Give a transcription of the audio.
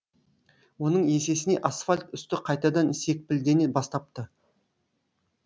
оның есесіне асфальт үсті қайтадан секпілдене бастапты